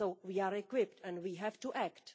We are equipped and we have to act.